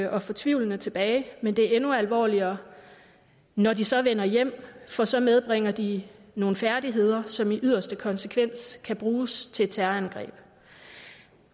og fortvivlede tilbage men det er endnu alvorligere når de så vender hjem for så medbringer de nogle færdigheder som i yderste konsekvens kan bruges til terrorangreb